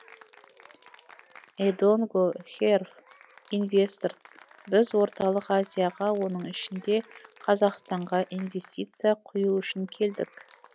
эдонго хэрв инвестор біз орталық азияға оның ішінде қазақстанға инвестиция құю үшін келдік